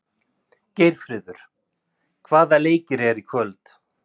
Geirfríður, hvaða leikir eru í kvöld?